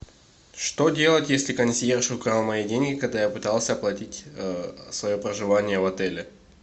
что делать если консьерж украл мои деньги когда я пытался оплатить свое проживание в отеле